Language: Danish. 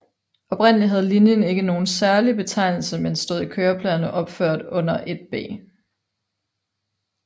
Oprindelig havde linjen ikke nogen særlig betegnelse men stod i køreplanerne opført under 1B